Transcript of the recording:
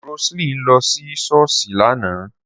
Rose line lọ sí ṣọ́ọ̀ṣì lánàá